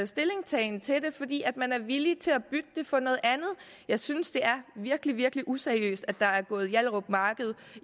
stillingtagen til det fordi man er villig til at bytte det for noget andet jeg synes det er virkelig virkelig useriøst at der er gået hjallerup marked